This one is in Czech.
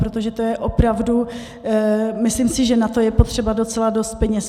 Protože to je opravdu - myslím si, že na to je potřeba docela dost peněz.